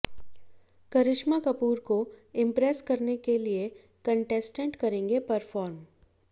करिश्मा कपूर को इम्प्रेस करने के लिए कंटेस्टेंट करेंगे परफॉर्म